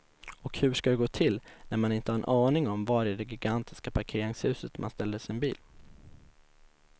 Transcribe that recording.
Och hur ska det gå till när man inte har en aning om var i det gigantiska parkeringshuset man ställde sin bil.